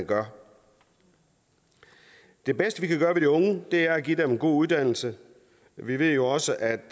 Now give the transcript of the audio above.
gøre det bedste vi kan gøre for de unge er at give dem en god uddannelse vi ved jo også at